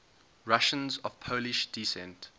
russians of polish descent